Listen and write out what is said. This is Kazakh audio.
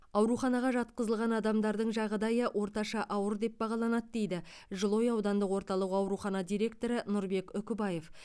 ауруханаға жатқызылған адамдардың жағдайы орташа ауыр деп бағаланады дейді жылыой аудандық орталық ауруханасының директоры нұрбек үкібаев